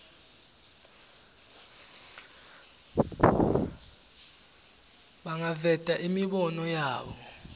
bangaveta imibono yabo